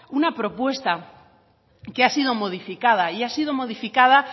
una propuesta que ha sido modificada y ha sido modificada